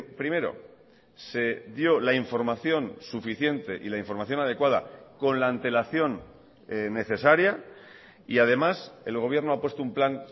primero se dio la información suficiente y la información adecuada con la antelación necesaria y además el gobierno ha puesto un plan